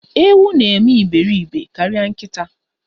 Ewu na eme iberibe karịa nkịta.